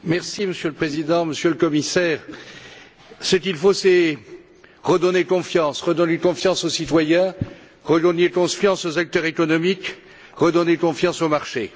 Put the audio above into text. Monsieur le Président, Monsieur le Commissaire, ce qu'il faut, c'est redonner confiance redonner confiance aux citoyens, redonner confiance aux acteurs économiques, redonner confiance aux marchés.